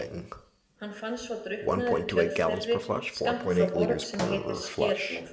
Hann fannst svo drukknaður í tjörn þeirri skammt frá Borg sem heitir Skerflóð.